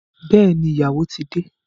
Bẹẹni, ìyàwó ti de